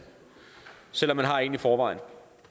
selv om man har en i forvejen